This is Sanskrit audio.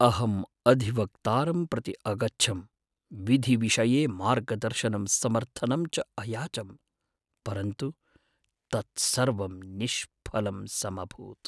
अहं अधिवक्तारं प्रति अगच्छं, विधिविषये मार्गदर्शनं समर्थनं च अयाचं, परन्तु तत्सर्वं निष्फलम् समभूत्।